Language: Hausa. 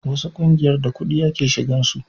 wasu ƙungiyar da kudi ake shigan su